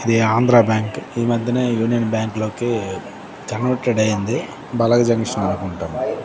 ఇది ఆంధ్రా బ్యాంకు ఈ మధ్యనే యూనియన్ బ్యాంకు లోకి జనరేటర్ అయింది బలగ్ జంక్షన్ అనుకుంటం.